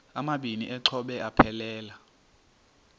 amabini exhobe aphelela